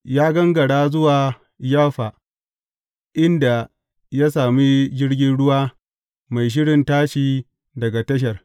Ya gangara zuwa Yaffa, inda ya sami jirgin ruwa mai shirin tashi daga tashar.